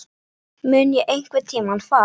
Mun ég einhverntímann fara?